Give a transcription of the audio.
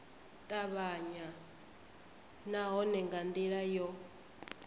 tavhanya nahone nga ndila yo